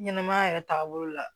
Ɲɛnɛmaya yɛrɛ taabolo la